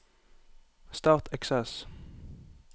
Start Access